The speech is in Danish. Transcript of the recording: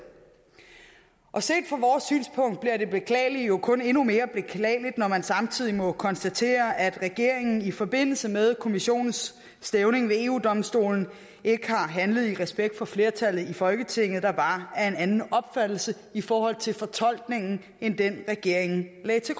set fra vores synspunkt bliver det beklagelige jo kun endnu mere beklageligt når man samtidig må konstatere at regeringen i forbindelse med kommissionens stævning ved eu domstolen ikke har handlet i respekt for flertallet i folketinget der var af en anden opfattelse i forhold til fortolkningen end den regeringen lagde til